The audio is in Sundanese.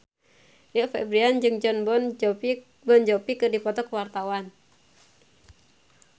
Rio Febrian jeung Jon Bon Jovi keur dipoto ku wartawan